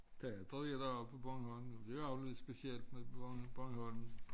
Teater i dag på Bornholm det er jo lidt speciel nede på Bornholm